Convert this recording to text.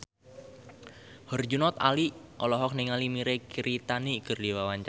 Herjunot Ali olohok ningali Mirei Kiritani keur diwawancara